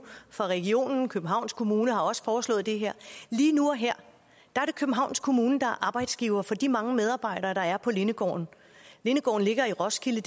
fra regionen københavns kommune har også foreslået det her lige nu og her er det københavns kommune der er arbejdsgiver for de mange medarbejdere der er på lindegården lindegården ligger i roskilde